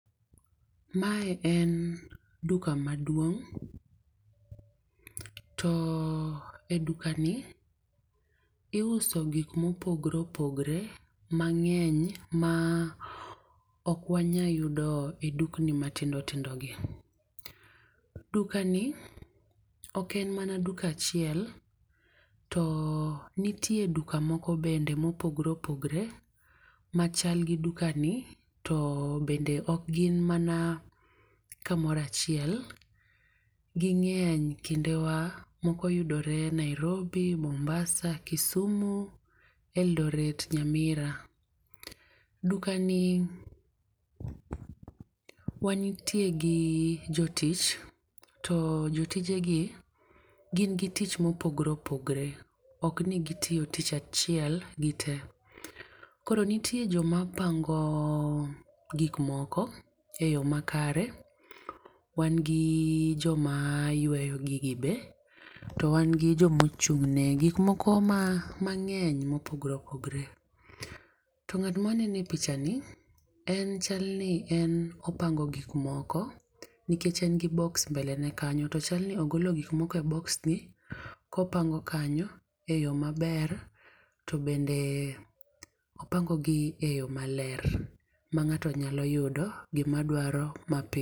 Mae en duka maduong' to e dukani iuso gikmopogre opogre mang'eny ma okwanya yudo e dukni matindotindogi. Dukani oken mana duka achiel to nitie duka moko bende mopogre opogre machal gi dukani to bende okgin mana kamoro achiel, ging'eny kindewa moko yudore Nairobi, Mombasa, Kisumu, Eldoret, Nyamira. Dukani wanitie gi jotich to jotijegi gin gi tich mopogre opogre oknio gitiyo tich achiel gite. Koro nitie jokma pango gikmoko e yo makare, wan gi joma yweyo gigi be to wan gi jomochung'ne ne gikmoko mang'eny mopogre opogre, to ng'atma aneno e pichani en chalni opango gikmoko nikech en gi boks mbelene kanyo to chalni ogolo gikmoko e boksni kopango kanyo e yo maber to bende opangogi e yo maler ma ng'ato nyalo yudo gimadwaro mapiyo.